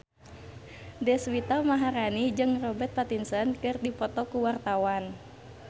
Deswita Maharani jeung Robert Pattinson keur dipoto ku wartawan